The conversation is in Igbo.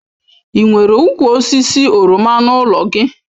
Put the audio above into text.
Ị nwere ụkwụ osisi oroma n'ụlọ gị?